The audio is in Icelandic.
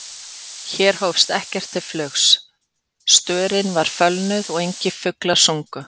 Hér hófst ekkert til flugs, störin var fölnuð og engir fuglar sungu.